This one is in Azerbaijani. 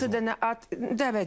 16 dənə at dəvət eləyiblər.